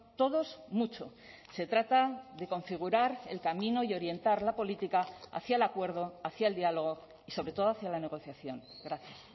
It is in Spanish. todos mucho se trata de configurar el camino y orientar la política hacia el acuerdo hacia el diálogo y sobre todo hacia la negociación gracias